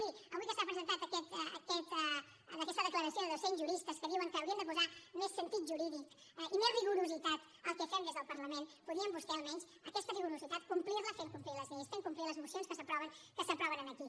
miri avui que s’ha presentat aquesta declaració de dos cents juristes que diuen que hauríem de posar més sentit jurídic i més rigorositat al que fem des del parlament podien vostès almenys aquesta rigorositat complir la fent complir les lleis fent complir les mocions que s’aproven aquí